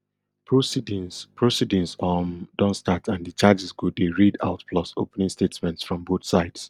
proceedings proceedings um don start and di charges go dey read out plus opening statements from both sides